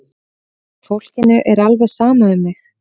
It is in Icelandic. Fólkinu er alveg sama um mig!